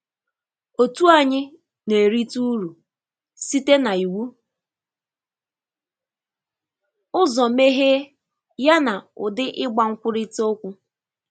Otu anyị na-erite ụrụ site na iwụ ụzọ meghe ya na ụdị igba nkwurịta okwu.